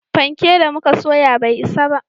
Fanke da muka soya bai isa ba